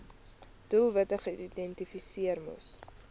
doelwitte geïdentifiseer moes